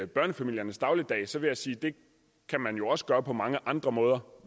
børnefamiliernes dagligdag så vil jeg sige at det kan man jo også gøre på mange andre måder